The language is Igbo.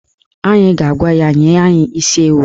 Anyị ga-agwa ya nye anyị isi ewu